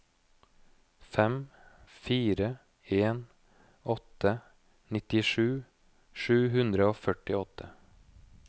fem fire en åtte nittisju sju hundre og førtiåtte